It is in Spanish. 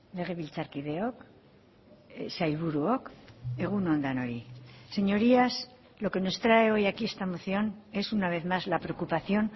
legebiltzarkideok sailburuok egun on denoi señorías lo que nos trae hoy aquí esta moción es una vez más la preocupación